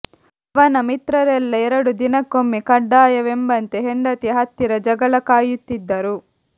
ಅವನ ಮಿತ್ರರೆಲ್ಲ ಎರಡು ದಿನಕ್ಕೊಮ್ಮೆ ಕಡ್ಡಾಯವೆಂಬಂತೆ ಹೆಂಡತಿಯ ಹತ್ತಿರ ಜಗಳ ಕಾಯುತ್ತಿದ್ದರು